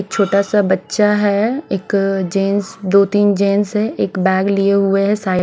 छोटा सा बच्चा है एक जेंट्स दो तीन जेंट्स है एक बैग लिए हुए साइ--